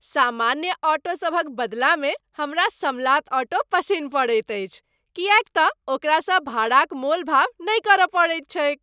सामान्य ऑटोसभक बदलामे हमरा समलात ऑटो पसिन्न पड़ैत अछि किएक तँ ओकरासँ भाड़ा क मोलभाव नहि करय पड़ैत छैक।